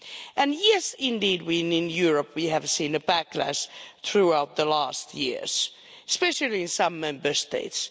And yes indeed, we in Europe have seen a backlash throughout the last years, especially in some Member States.